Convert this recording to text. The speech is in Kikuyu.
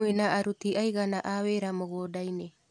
Mwĩna aruti aigana a wĩra mũgũndainĩ.